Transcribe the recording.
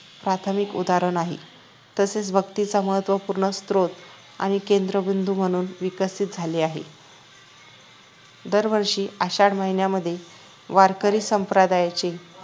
प्राथमिक उदाहरण आहे तसेच भक्तीचा महत्वपूर्ण स्रोत आणि केंद्रबिंदू म्हणून विकसित झाले आहे दरवर्षी आषाढ महिन्यामध्ये वारकरी संप्रदायाचे